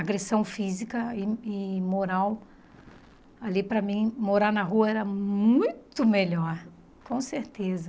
Agressão física e e moral ali para mim, morar na rua era muito melhor, com certeza.